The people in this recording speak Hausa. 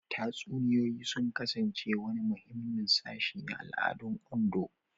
Tatsuniyoyi sun kasance wani muhimmin sashi na al'adun Ondo.